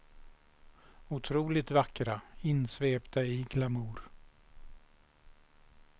Otroligt vackra, insvepta i glamour.